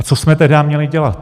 A co jsme tedy měli dělat?